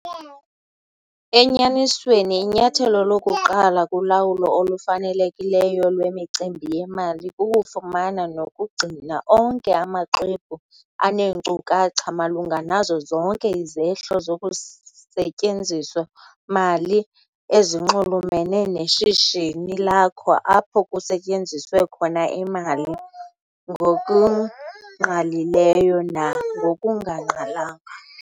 Enyanisweni inyathelo lokuqala kulawulo olufanelekileyo lwemicimbi yemali kukufumana nokugcina onke amaxwebhu aneenkcukacha malunga nazo zonke izehlo zokusetyenziso-mali ezinxulumene neshishini lakho apho kusetyenziswe khona imali, ngokungqalileyo nangokungangqalanga.